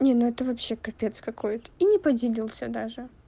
не это вообще капец какой-то и не поделился даже